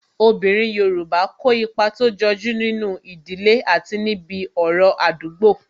Obinrin Yorùbá kó ipa tó jọju nínú ìdílé àti níbi ọ̀rọ̀ Àdúgbo